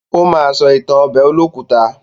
Ó ma sọ ìtàn ọbẹ̀ olókùta.